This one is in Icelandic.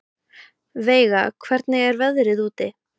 Veiga, hvernig er veðrið úti?